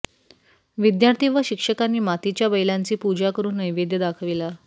विद्यार्थी व शिक्षकांनी मातीच्या बैलांची पूजा करुन नैवेद्य दाखविला